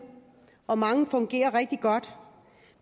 og mange fungerer rigtig godt